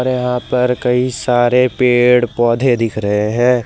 यहां पर कई सारे पेड़ पौधे दिख रहे हैं।